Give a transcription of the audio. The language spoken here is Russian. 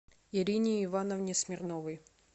ирине ивановне смирновой